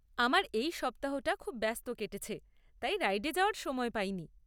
আমার এই সপ্তাহটা খুব ব্যস্ত কেটেছে তাই রাইডে যাওয়ার সময় পাইনি।